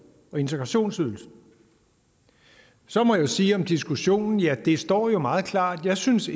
og integrationsydelsen så må jeg sige om diskussionen ja det står jo meget klart jeg synes